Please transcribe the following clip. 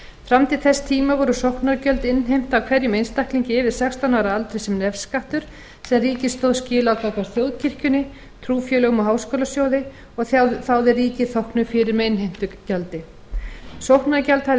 fram til þess tíma voru sóknargjöld innheimt af hverjum einstaklingi yfir sextán ára aldri sem nefskattur sem ríkið stóð skil á gagnvart þjóðkirkjunni trúfélögum og háskólasjóði og þáði ríkið þóknun fyrir með innheimtugjaldi sóknargjald hafði